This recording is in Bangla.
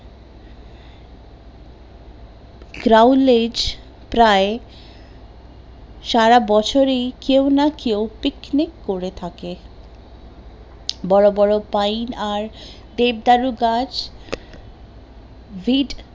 ক্রাউলেজ প্রায় সারাবছরে কেউ না কেউ picnic করে থাকে বড় বড় পাইন আর দেবদারু গাছ